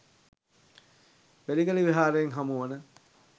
බෙලිගල විහාරයෙන් හමුවන